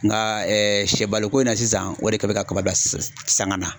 Nka sɛbaloko in na sisan o de kɛn bɛ ka kaba bila sanga na.